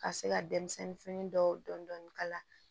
Ka se ka denmisɛnnin fini dɔw dɔn ka la